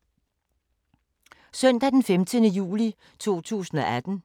Søndag d. 15. juli 2018